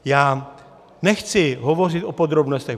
Já nechci hovořit o podrobnostech.